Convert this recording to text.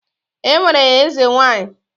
E nwere ezenwanyị.